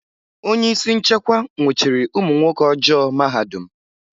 Onye isi nchekwa nwụchiri ụmụ nwoke ọjọọ mahadum.